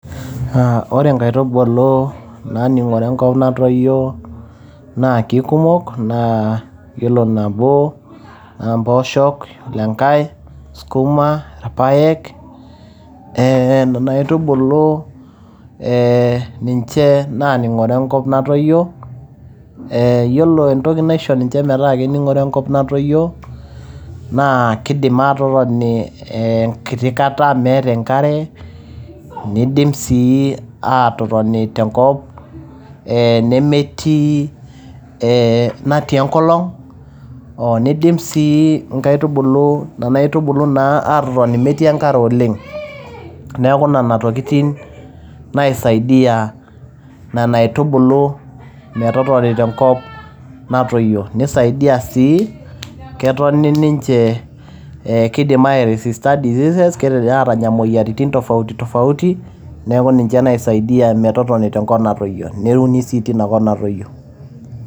Ore nkaitubulu naaning`ore enkop natoyio naa kikumok naa ore nabo naa mpoosho, yiolo enkae sukuma, irpaek, eeh nena aitubuu eeh ninche naaning`ore enkop natoyio. Eeh yiolo entoki naisho ninche metaa kening`ore enkop natoyio naa kidim aatotoni eeh enkiti kata meeta enkare nidim sii aatotoni tenkop eeh nemetii eeh natii enkolong. Nidim sii nkaitubuu nena aitubulu aatotoni metii enkare oleng. Niaku nena tokitin naisadia nena aitubulu metotoni tenkop natoyio nesaidia sii ketoni ninche, keidim ai resister diseases, kidim aatanya moyiaritin tofauti tofauti. Naiku ninche naisaidia metotoni tenkop natoyio neuni sii tenkop natoyio.